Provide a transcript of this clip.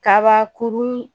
Kabakurun